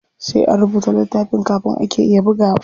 Sai an rubuta littafin kafin ake iya bugawa.